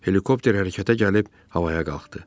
Helikopter hərəkətə gəlib havaya qalxdı.